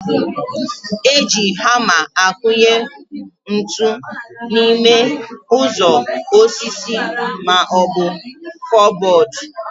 Eji hama akụnye ntụ n'ime ụzọ osisi maọbụ kụbọd